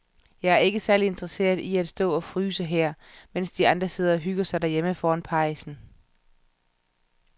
Jeg er ikke særlig interesseret i at stå og fryse her, mens de andre sidder og hygger sig derhjemme foran pejsen.